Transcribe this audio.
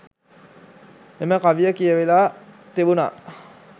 එම කවිය කියවලා තිබුණා